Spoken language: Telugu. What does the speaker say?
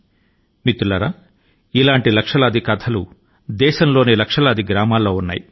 మన దేశం లోని లక్షలాది గ్రామాలలో ఇటువంటి కథ లు చాలా ఉన్నాయి